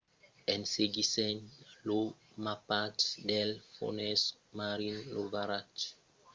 en seguissent lo mapatge dels fonses marins lo varatge foguèt trobat en utilizar un rov